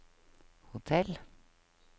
hotell